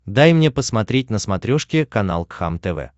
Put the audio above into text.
дай мне посмотреть на смотрешке канал кхлм тв